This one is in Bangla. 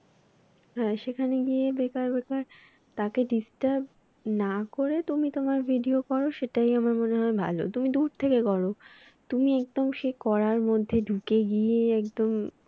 হ্যাঁ সেখানে গিয়ে বেকার বেকার তাকে disturb না করে তুমি তোমার video করো সেটাই আমার মনে হয় ভালো। তুমি দূর থেকে করো তুমি একদম সে কড়ার মধ্যে ঢুকে গিয়ে একদম